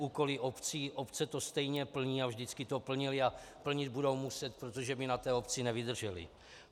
Úkoly obcí - obce to stejně plní a vždycky to plnily a plnit budou muset, protože by na té obci nevydržely.